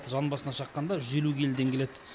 жан басына шаққанда жүз елу келіден келед